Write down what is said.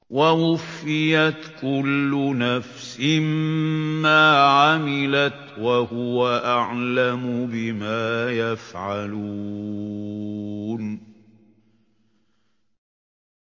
وَوُفِّيَتْ كُلُّ نَفْسٍ مَّا عَمِلَتْ وَهُوَ أَعْلَمُ بِمَا يَفْعَلُونَ